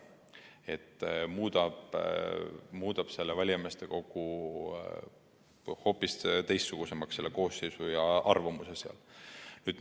See muudab valijameeste kogu koosseisu ja ka sealse arvamuse hoopis teistsuguseks.